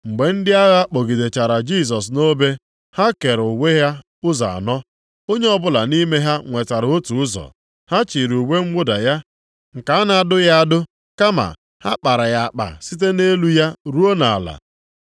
Mgbe ndị agha kpọgidechara Jisọs nʼobe, ha kere uwe ya ụzọ anọ. Onye ọbụla nʼime ha nwetara otu ụzọ. Ha chịrị uwe mwụda ya nke a na-adụghị adụ, kama a kpara ya akpa site nʼelu ya ruo nʼala ya.